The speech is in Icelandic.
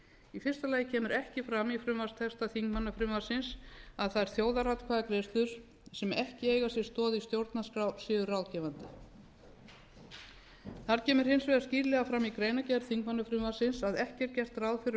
í fyrsta lagi kemur ekki fram í frumvarpstexta þingmannafrumvarpsins að þær þjóðaratkvæðagreiðslur sem ekki eiga sér stoð í stjórnarskrá séu ráðgefandi það kemur hins vegar skýrlega fram í greinargerð þingmannafrumvarpsins að ekki er gert ráð fyrir